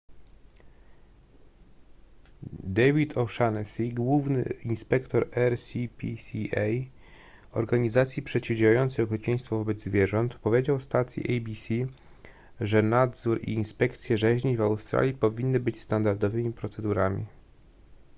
david o'shannessy główny inspektor rspca organizacji przeciwdziałającej okrucieństwu wobec zwierząt powiedział stacji abc że nadzór i inspekcje rzeźni w australii powinny być standardowymi procedurami